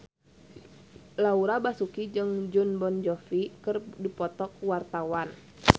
Laura Basuki jeung Jon Bon Jovi keur dipoto ku wartawan